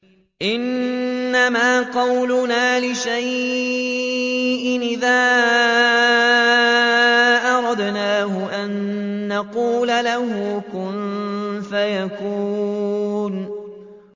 إِنَّمَا قَوْلُنَا لِشَيْءٍ إِذَا أَرَدْنَاهُ أَن نَّقُولَ لَهُ كُن فَيَكُونُ